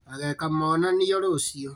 Ageka monanio rũciũ